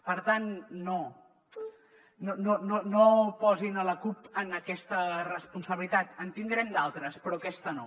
per tant no posin la cup en aquesta responsabilitat en devem tenir d’altres però aquesta no